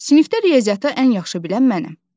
Sinifdə riyaziyyatı ən yaxşı bilən mənəm.